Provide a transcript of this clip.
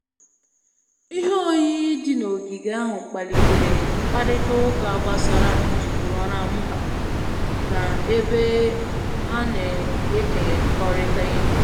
Ihe oyiyi dị n'ogige ahụ kpalitere mkparịta ụka gbasara njirimara mba na ebe a na-ekekọrịta ihe